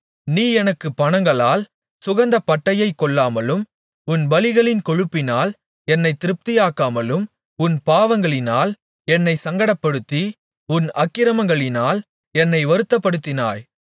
நீ எனக்குப் பணங்களால் சுகந்தப்பட்டையைக் கொள்ளாமலும் உன் பலிகளின் கொழுப்பினால் என்னைத் திருப்தியாக்காமலும் உன் பாவங்களினால் என்னைச் சங்கடப்படுத்தி உன் அக்கிரமங்களினால் என்னை வருத்தப்படுத்தினாய்